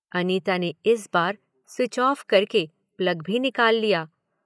अनिता ने इस बार स्विच ऑफ़ करके प्लग भी निकाल लिया।